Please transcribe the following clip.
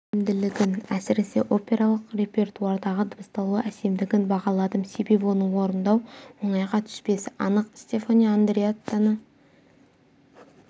икемділігін әсіресе опералық репертуардағы дыбысталу әсемдігін бағаладым себебі оны орындау оңайға түспесі анық стефано андреаттаны